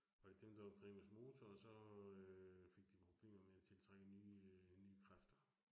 Var det dem, der var primus motor og så øh fik de problemer med at tiltrække nye øh nye kræfter